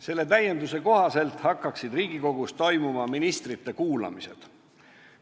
Selle kohaselt hakkaksid Riigikogus toimuma ministrite kuulamised.